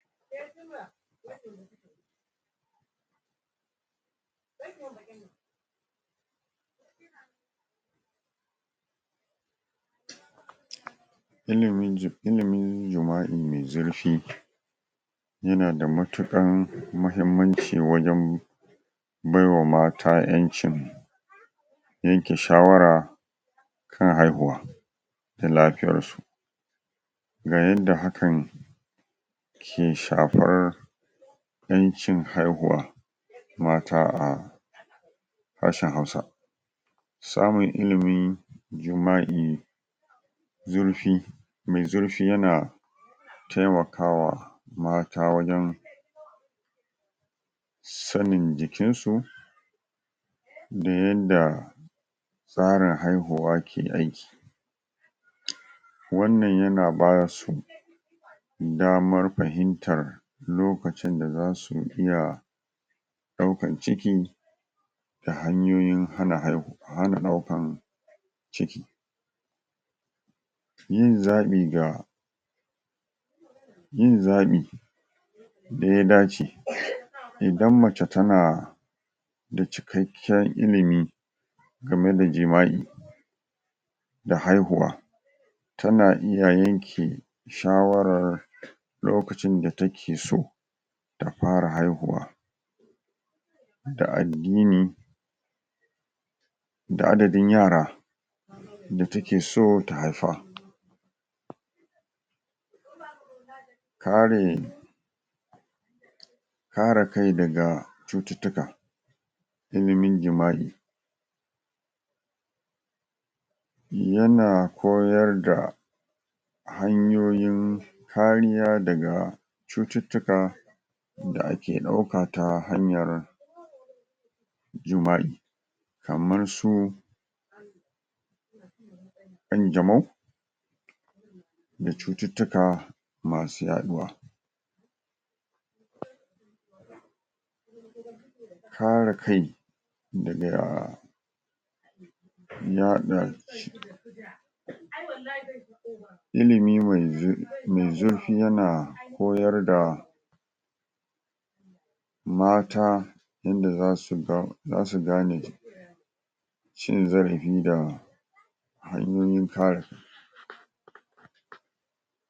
pause Ilimin.. illimin jima'i nai zurfi yana da matukar mahimmanci wajen baiwa mata ƴancin yanke shawara kan haihuwa da lafiyarsu ga yadda hakan ke shafar ƴancin haihuwa mata a ƙasan hausa samun ilimin jima'i zurfi me zurfi yana taimakawa mata wajen sanin jikinsu da yadda tsarin haihuwa ke aiki um wannan yana bayar damar fahimtar lokacin da zasu iya daukan ciki da hanyoyin hana hai.. hana daukan ciki yin zaɓin da yin zaɓi da ya dace ayi idan mace tana da cikakken ilimi game da jima'i da haihuwa tana iya yan ke shawaran lokacin da takeso ta fara haihuwa da addini.. da adadin yara da takeso ta haifa pause kare kare kai daga cututtuka ilimin jima'i yana koyar da hanyoyin kariya daga cututtuka da ake ɗauka ta hanyar jima'i kamar su ƙanjamau da cututtuka masu yaduwa pause kare kai daga yaɗa um um ilimi mai zurfi me zurfi yana koyar da mata, inda zasu ɗau.. zasu gane cin zarafi da hanyoyin kare kai.